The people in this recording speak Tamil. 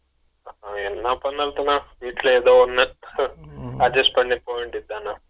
என்ன பண்றது தல வேட்டிய இருந்தா ஒன்னு ஹ adjust பண்ணி போகவேண்டியாதுதான